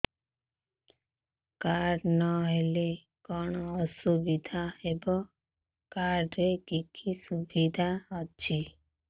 card ନହେଲେ କଣ ଅସୁବିଧା ହେବ କାର୍ଡ ରେ କି କି ସୁବିଧା ଅଛି